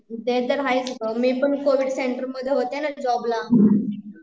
ते तर आहेच ग, मी पण कोविड सेंटर मध्ये होते ना जॉब ला